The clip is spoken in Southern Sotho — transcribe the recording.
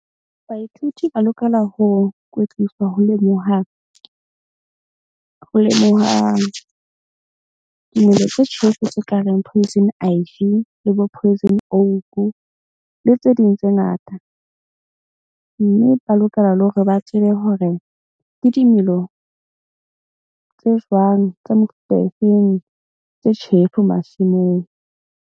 Baithuti ba lokela ho kwetliswa ho lemoha dimela tse tjhefu tse ka reng poison le bo poison le tse ding tse ngata. Mme ba lokela le hore ba tsebe hore ke dimelo tse jwang tsa mefuta e feng tse tjhefu masimong.